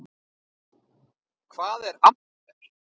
Hvað er amper?